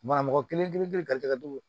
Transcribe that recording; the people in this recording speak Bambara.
Banamɔgɔ kelen kelen